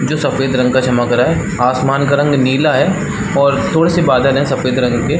जो सफ़ेद रंग का चमक रहा है आसमान का रंग नीला है और थोड़े से बादल है सफ़ेद रंग के --